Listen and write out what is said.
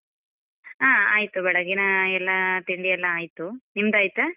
ಹ ಆಯ್ತು, ಬೆಳಗಿನ ಎಲ್ಲ ತಿಂಡಿ ಎಲ್ಲ ಆಯ್ತು, ನಿಮ್ದಾಯ್ತಾ?